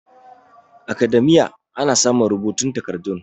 academia ana samun rubutun takardun